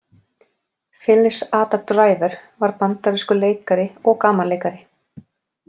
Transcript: Phyllis Ada Driver var bandarískur leikari og gamanleikari.